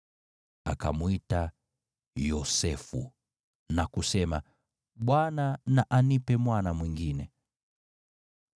Akamwita Yosefu na kusema, “ Bwana na anipe mwana mwingine.”